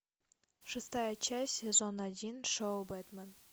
шестая часть сезона один шоу бэтмен